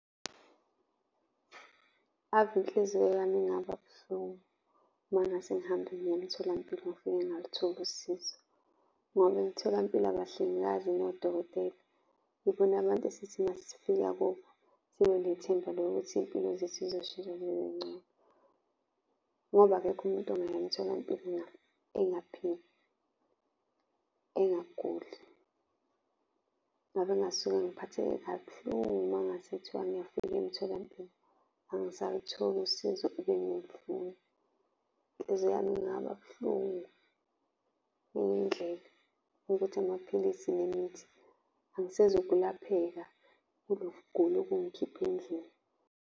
Ave inhliziyo yami ingaba buhlungu uma ngase ngihambe ngiye emtholampilo ngifike ngingalutholi usizo ngoba emitholampilo, abahlengikazi nodokotela, yibona abantu esithi uma sifika kubo sibe nethemba lokuthi iy'mpilo zethu zizoshitsha zibe ngcono. Ngoba akekho umuntu ongaya emtholampilo engaphili, engaguli. Ngabe ngingasuke ngiphatheke kabuhlungu uma ngase kuthiwa ngiyafika emtholampilo angisalutholi usizo ebengilufuna. Inhliziyo yami ingaba buhlungu ngenye indlela yokuthi amaphilisi nemithi angisezukulapheka kuloku kugula okungikhiphe endlini.